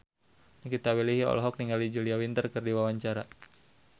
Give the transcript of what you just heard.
Nikita Willy olohok ningali Julia Winter keur diwawancara